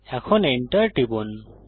এখন Enter টিপুন